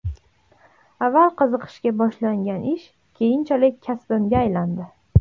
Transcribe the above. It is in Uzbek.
Avval qiziqishga boshlangan ish keyinchalik kasbimga aylandi.